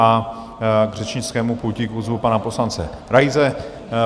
A k řečnickému pultíku zvu pana poslance Raise.